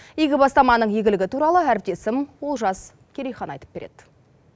игі бастаманың игілігі туралы әріптесім олжас керейхан айтып береді